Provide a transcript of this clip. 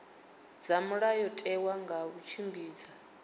dza mulayotewa nga u tshimbidza